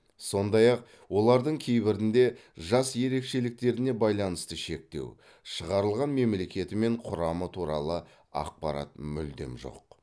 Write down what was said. сондай ақ олардың кейбірінде жас ерекшеліктеріне байланысты шектеу шығарылған мемлекеті мен құрамы туралы ақпарат мүлдем жоқ